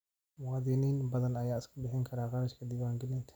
Muwaadiniin badan ayaan iska bixin karin kharashka diiwaangelinta.